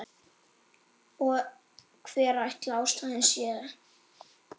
Og hver ætli ástæðan sé?